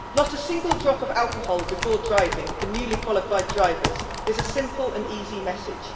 Not a single drop of alcohol before driving for newly qualified drivers is a simple and easy message.